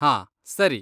ಹಾಂ, ಸರಿ.